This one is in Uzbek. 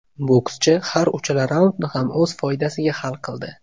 Bokschi har uchala raundni ham o‘z foydasiga hal qildi.